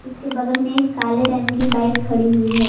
उसके बगल में एक काले रंग की बाइक खड़ी हुई है।